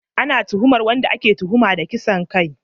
Ana tuhumar wanda ake tuhuma da kisan kai